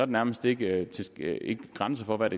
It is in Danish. nærmest ikke grænser for hvad